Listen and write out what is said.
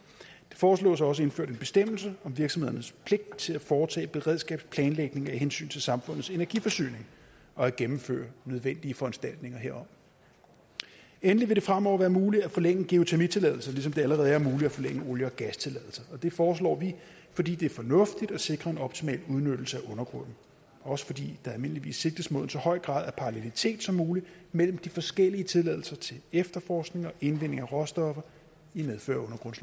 foreslås også indført en bestemmelse om virksomhedernes pligt til at foretage beredskabsplanlægning af hensyn til samfundets energiforsyning og at gennemføre nødvendige foranstaltninger herom endelig vil det fremover være muligt at forlænge geotermitilladelser ligesom det allerede er muligt at forlænge olie og gastilladelser og det foreslår vi fordi det er fornuftigt at sikre en optimal udnyttelse af undergrunden og også fordi der almindeligvis sigtes mod så høj en grad af parallelitet som muligt mellem de forskellige tilladelser til efterforskning og indvinding af råstoffer i medfør af